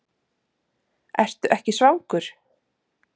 Ertu ekki svangur?